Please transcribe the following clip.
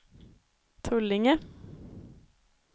Tullinge